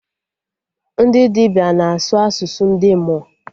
Ndị dibịa na-asụ asụsụ ndị mmụọ